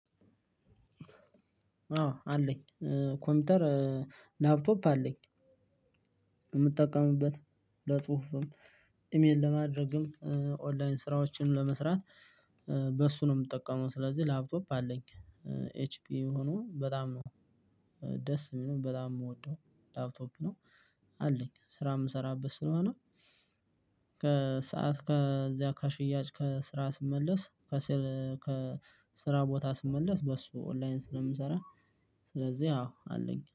አዎ አለኝ ኮምፒውተር ላፕቶፕ አለኝ የምጠቀምበት ለጽሁፍም፣ ኢሜል ለማድረግም፣ ኦንላይን ስራዎችን ለመስራት በሱ ነው የምጠቀመው ስለዚህ ላብቶፕ አለኝ። ኤች ፒ ሆኖ በጣም ነው ደስ የሚለው በጣም የምወደው ላፕቶፕ ነው አለኝ ስራ የምሰራበት ስለሆነ። ከሰአት ከዚያ ከሽያጭ ከስራ ስመለስ ከስራ ከስራ ቦታ ስመለስ በሱ ኦንላይን ስለምሰራ። ስለዚህ አዎ አለኝ።